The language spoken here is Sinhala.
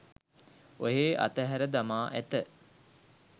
ඔහේ අතහැර දමා ඇත